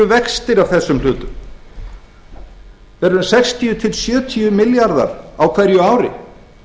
af þessum hlutum þeir eru um sextíu til sjötíu milljarðar á hverju ári